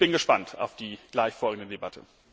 Ich bin gespannt auf die gleich folgende Debatte.